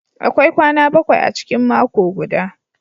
Akwai kwana bakwai a cikin mako guda.